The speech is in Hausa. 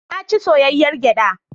Na ci soyayyar gyaɗa.